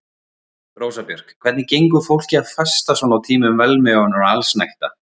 Rósa Björk: Hvernig gengur fólki að fasta svona á tímum velmegunar og allsnægta?